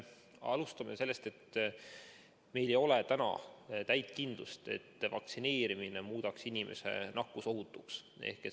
Alustame sellest, et meil ei ole täit kindlust, et vaktsineerimine muudaks inimese nakkusohutuks.